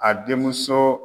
A den muso